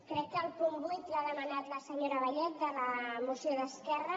crec que el punt vuit l’ha demanat la senyora vallet de la moció d’esquerra